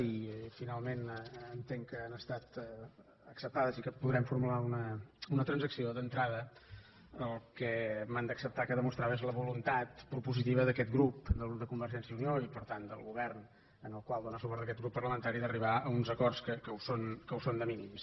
i finalment entenc que han estat acceptades i que podrem formular una transacció d’entrada el que m’han d’acceptar que demostrava és la voluntat propositiva d’aquest grup del grup de convergència i unió i per tant del govern al qual dóna suport aquest grup parlamentari d’arribar a uns acords que ho són de mínims